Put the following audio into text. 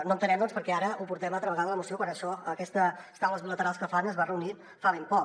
no entenem doncs per què ara ho portem altra vegada a la moció quan aquesta taula bilateral que fan es va reunir fa ben poc